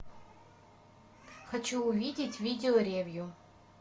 хочу увидеть видео ревью